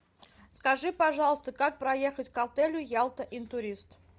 скажи пожалуйста как проехать к отелю ялта интурист